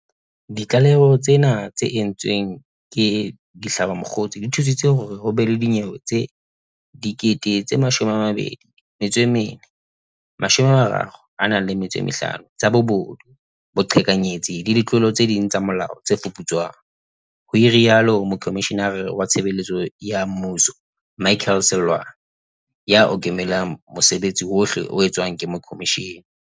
Ditlaleho tsena tse entsweng ke dihlabamokgosi di thusitse hore ho be le dinyewe tse 24 035 tsa bobodu, boqheka nyetsi le ditlolo tse ding tsa molao tse fuputswang, ho rialo Mokomishenara wa Tshebeletso ya Mmuso Michael Seloane, ya okamelang mosebetsi wohle o etswang ke khomishene.